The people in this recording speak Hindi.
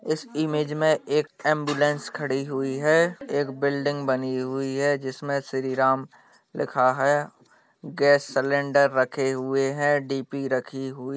इस इमेज में एक एंबुलेंस खड़ी हुई है एक बिल्डिंग बनी हुई है जिसमें श्री राम लिखा है गैस सिलेंडर रखे हुए हैं डी.पी. रखी हुई --